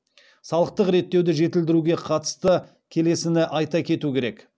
салықтық реттеуді жетілдіруге қатысты келесіні айта кету керек